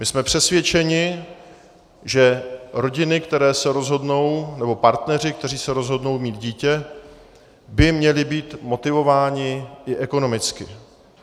My jsme přesvědčeni, že rodiny, které se rozhodnou, nebo partneři, kteří se rozhodnou mít dítě, by měli být motivováni i ekonomicky.